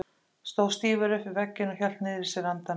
Stóð stífur upp við vegginn og hélt niðri í sér andanum.